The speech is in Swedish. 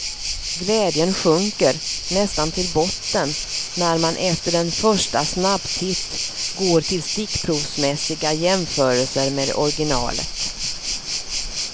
Glädjen sjunker, nästan till botten, när man efter en första snabbtitt går till stickprovsmässiga jämförelser med originalet.